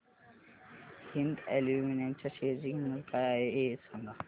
Hind aluminium च्या share ची किंमत काय आहे हे सांगा